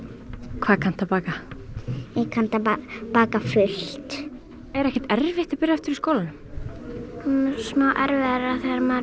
hvað kanntu að baka ég kann að baka fullt er ekkert erfitt að byrja aftur í skólanum smá erfiðara þegar maður